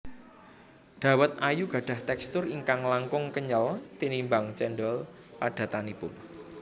Dawet ayu gadhah tekstur ingkang langkung kenyel tinimbang cendhol padatanipun